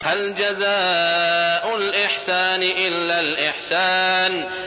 هَلْ جَزَاءُ الْإِحْسَانِ إِلَّا الْإِحْسَانُ